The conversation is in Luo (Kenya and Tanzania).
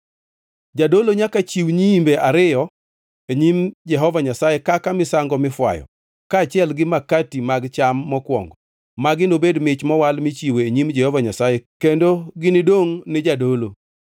Jadolo nyaka chiw nyiimbe ariyogo e nyim Jehova Nyasaye kaka misango mifwayo, kaachiel gi makati mag cham mokwongo. Magi nobed mich mowal michiwo e nyim Jehova Nyasaye, kendo ginidongʼ ni jadolo.